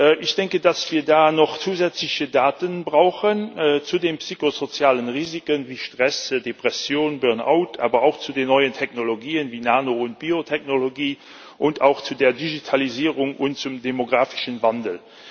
Wir brauchen da noch zusätzliche Daten zu den psychosozialen Risiken wie Stress, Depression, Burnout, aber auch zu den neuen Technologien wie Nano und Biotechnologie und auch zu der Digitalisierung und zum demografischen Wandel.